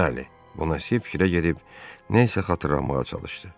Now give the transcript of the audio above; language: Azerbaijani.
Bəli, Bona Se fikrə gedib nəsə xatırlamağa çalışdı.